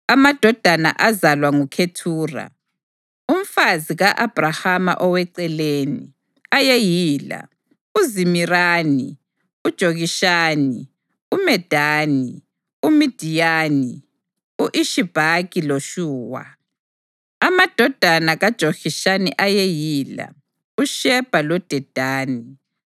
Amadodana azalwa nguKhethura, umfazi ka-Abhrahama oweceleni, ayeyila: uZimirani, uJokishani, uMedani, uMidiyani, u-Ishibhaki loShuwa. Amadodana kaJokishani ayeyila: uShebha loDedani.